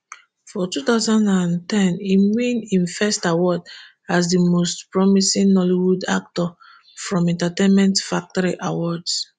for two thousand and ten im win im first award as di most promising nollywood actor from entertainment factory awards